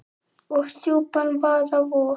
og djúpan vaða vog.